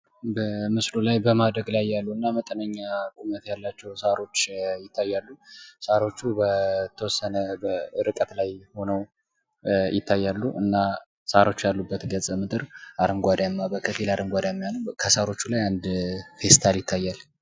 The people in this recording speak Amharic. በምስሉ ላይ በማደግ ላይ ያሉና መጠነኛ ቁመት ያላቸው ሳሮችን እንመለከታለን። ሳሮቹ በተወሰነ ርቀት ላይ ሁነው ይታያሉ። እና ሳሮቹ ያሉበት ገጸምድር ከፊል አረንጓዳማ ነውደ ከሳሮቹ ላይ አንድ ፌስታል ይታያል።